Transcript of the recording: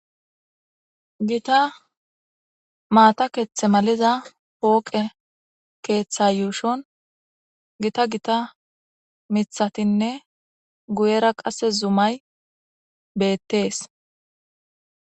gita maata keththe maliza pooqe keeththa yuushon gita gita mithatinne guyera qasse zumay beettees.